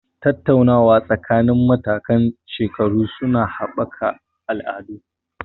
Tattaunawa tsakanin matakan shekaru su na haɓaka al'ada.